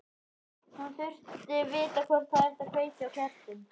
Hún þurfti að vita hvort það ætti að kveikja á kertum.